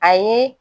A ye